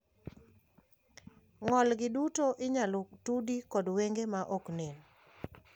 Ng`olgi duto inyalo tudi kod wenge maoknen.